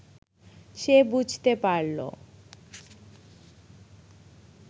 সে বুঝতে পারল